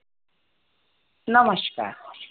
नमस्कार